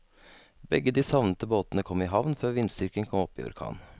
Begge de savnede båtene kom i havn før vindstyrken kom opp i orkan.